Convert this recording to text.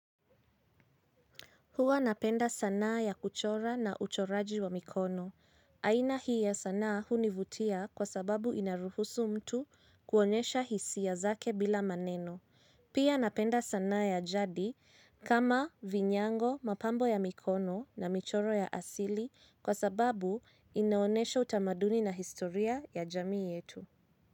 Huwa napenda sanaa ya kuchora na uchoraji wa mikono. Aina hii ya sanaa hunivutia kwa sababu inaruhusu mtu kuonyesha hisia zake bila maneno. Pia napenda sanaa ya jadi kama vinyango, mapambo ya mikono na michoro ya asili kwa sababu inaonyesha utamaduni na historia ya jamii yetu.